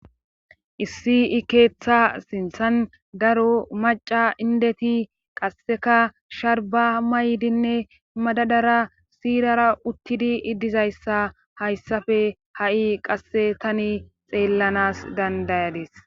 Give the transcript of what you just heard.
issi keeththa sinthan daro maca indeti qasseka sharba maydinne madadara siirara uttidi iddizayssa hayssafe ha7i qasse tani xeellanas dandayadis